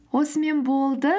осымен болды